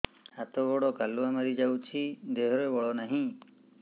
ହାତ ଗୋଡ଼ କାଲୁଆ ମାରି ଯାଉଛି ଦେହରେ ବଳ ନାହିଁ